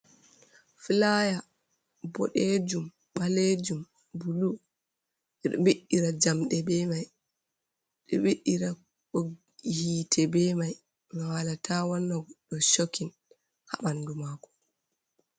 Fulaya boɗeejum, baleejum bulu, ɓe ɗo ɓiɗɗira jamɗe be may .Ɓe ɗo ɓiɗɗira ɓoggi yiite be may, ngam haala ta wanna goɗɗo cokin haa ɓanndu maako.